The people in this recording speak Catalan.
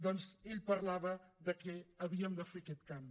doncs ell parlava de que havíem de fer aquest canvi